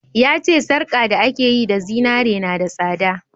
Ya ce sarka da aka yi da zinari na da tsada